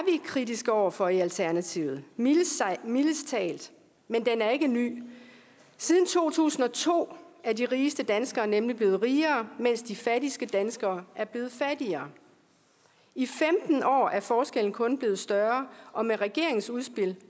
kritiske over for i alternativet mildest talt men den er ikke ny siden to tusind og to er de rigeste danskere nemlig blevet rigere mens de fattigste danskere er blevet fattigere i femten år er forskellen kun blevet større og med regeringens udspil